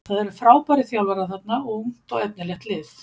Það eru frábærir þjálfara þarna og ungt og efnilegt lið.